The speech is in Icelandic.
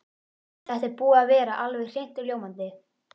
Þetta er búið að vera alveg hreint ljómandi.